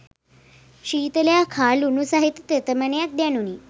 ශීතලක් හා ලුණු සහිත තෙතමනයක් දැනුණි